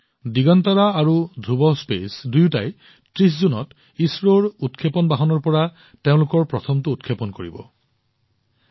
দিগন্তৰা আৰু ধ্ৰুৱ স্পেচ দুয়োটাই ৩০ জুনত ইছৰোৰ উৎক্ষেপণ বাহনৰ পৰা তেওঁলোকৰ প্ৰথম উৎক্ষেপণ কৰিবলৈ গৈ আছে